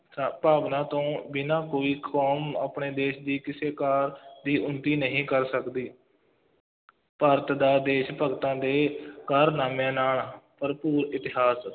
ਸ ਭਾਵਨਾ ਤੋਂ ਬਿਨਾ ਕੋਈ ਕੌਮ ਆਪਣੇ ਦੇਸ਼ ਦੀ ਕਿਸੇ ਕਾਰਜ ਦੀ ਉੱਨਤੀ ਨਹੀਂ ਕਰ ਸਕਦੀ ਭਾਰਤ ਦਾ ਦੇਸ਼ ਭਗਤਾਂ ਦੇ ਕਾਰਨਾਮਿਆਂ ਨਾਲ ਭਰਪੂਰ ਇਤਿਹਾਸ,